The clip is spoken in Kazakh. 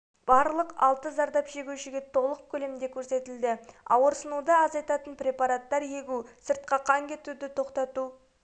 барлық алты зардап шегушіге толық көлемде көрсетілді ауырсынуды азайтатын препараттар егу сыртқа қан кетуді тоқтату